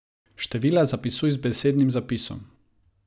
Števila zapisuj z besednim zapisom.